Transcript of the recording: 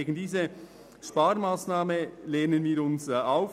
Gegen diese Sparmassnahme lehnen wir uns auf.